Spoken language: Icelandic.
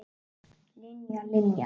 Linja, Linja.